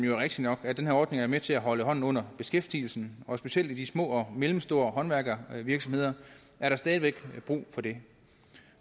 jo rigtigt nok at den her ordning er med til at holde hånden under beskæftigelsen og specielt i de små og mellemstore håndværksvirksomheder er der stadig væk brug for det